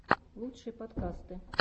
лучшие подкасты